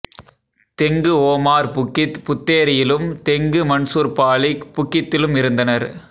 தெங்கு Omar Bukit புத்தேரியிலும் Tengku Mansor Balik புக்கித்திலும் இருந்தனர்